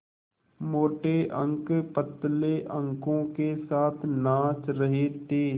मोटे अंक पतले अंकों के साथ नाच रहे थे